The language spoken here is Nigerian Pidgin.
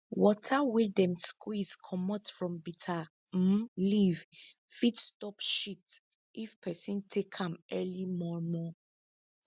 water wey dem squeeze comot from bitter um leaf fit stop shit if peson take am early mor mor